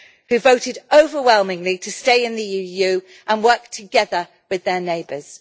who voted overwhelmingly to stay in the EU and work together with their neighbours.